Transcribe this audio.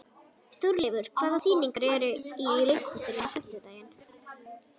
Þórleifur, hvaða sýningar eru í leikhúsinu á fimmtudaginn?